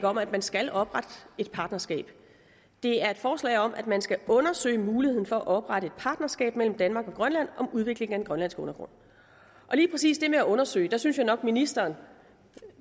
om at man skal oprette et partnerskab det er et forslag om at man skal undersøge muligheden for at oprette et partnerskab mellem danmark og grønland om udviklingen af den grønlandske undergrund lige præcis det med at undersøge synes jeg nok at ministeren